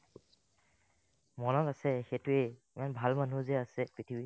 মনত আছে সেইটোয়ে ইমান ভাল মানুহ যে আছে পৃথিৱীত